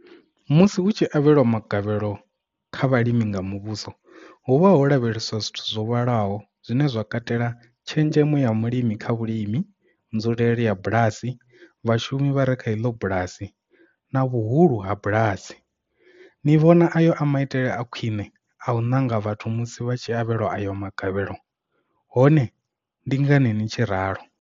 Musi hu tshi lavhelwa magavhelo kha vhalimi nga muvhuso, hu vha ho lavheleswa zwithu zwo vhalaho zwine zwa katela tshenzhemo ya mulimi kha vhulimi, nzulele ya bulasi, vhashumi vhare kha iḽo bulasi, na vhuhulu ha bulasi. Ni vhona ayo a maitele a khwiṋe a u ṋanga vhathu musi vha tshi avhelwa ayo magavhelo? hone ndi ngani ni tshi ralo?